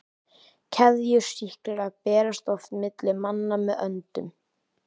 Keðjusýklar berast oft milli manna með öndun.